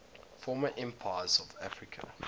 former empires of africa